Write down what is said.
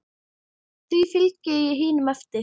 Því fylgdi ég hinum eftir.